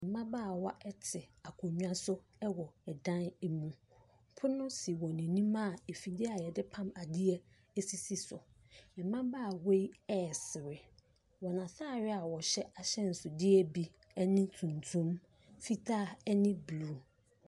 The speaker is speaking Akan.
Mmabaawa te akonnwa so wɔ dan mu, pono si wɔn anim a afidie a yɛde pam adeɛ sisi so, mmabaawa yi ɛresere, na wɔn ataadeɛ a wɔhyɛ ahyɛnsodeɛ bi ne tuntum, fitaa ne blue.